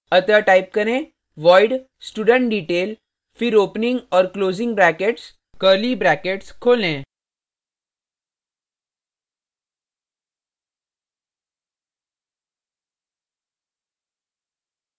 अतः type करें void studentdetail फिर opening और closing brackets curly brackets खोलें